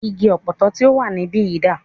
Igi Ọ̀pọ̀tọ́ tí o wà níbìyí dà?